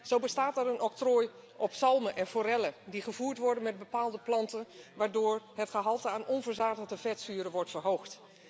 Zo bestaat er een octrooi op zalmen en forellen die gevoerd worden met bepaalde planten, waardoor het gehalte aan onverzadigde vetzuren wordt verhoogd.